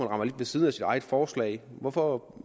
rammer lidt ved siden af sit eget forslag hvorfor